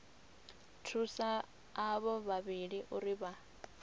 thusa avho vhavhili uri vha